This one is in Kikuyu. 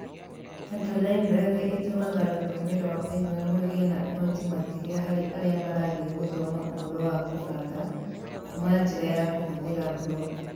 Turtle library ĩtũmaga rũthiomi rwa Python rũgĩe na ũhoti makĩria harĩ arĩa marathiĩ gũthoma ũhoro wa kũbanga kuuma njĩra ya kũhũthĩra mburoko